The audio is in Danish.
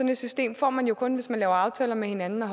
et system får man jo kun hvis man laver aftaler med hinanden og